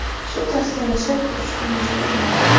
Shu tarzda yashab turishga majburman.